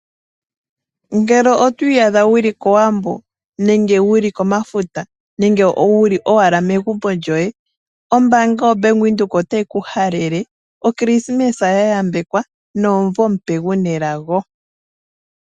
Ngele otwi iyadha wuli kowambo nenge wuli komafuta nenge wuli owala megumbo lyoye, ombanga yaVenduka otayi ku halele oKrisimes ya yambekwa nomuvo omupe guna elago.